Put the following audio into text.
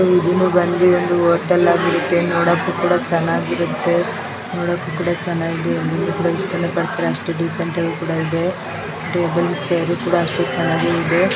ಇದು ಬಂದು ಒಂದು ಹೋಟೆಲ್ ಆಗಿರುತ್ತೆ ನೋಡಕ್ಕೆ ಕೂಡ ಚೆನ್ನಾಗಿರುತ್ತೆ ನೋಡಕ್ಕೂ ಕೂಡ ಚೆನ್ನಾಗಿದೆ ಆಮೇಲೆ ಎಲ್ಲರೂ ಇಷ್ಟಪಡ್ತಾರೆ ಅಷ್ಟು ಡೀಸೆಂಟ್ ಆಗಿದೆ ಚೇರು ಕೂಡ ಅಷ್ಟೇ ಚೆನ್ನಾಗಿದೆ .